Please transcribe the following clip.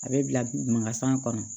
A bɛ bila magasan kɔnɔ